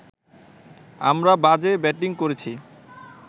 আমরা বাজে ব্যাটিং করেছি